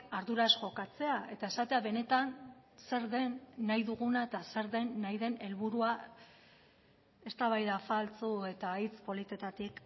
arduraz jokatzea eta esatea benetan zer den nahi duguna eta zer den nahi den helburua eztabaida faltsu eta hitz politetatik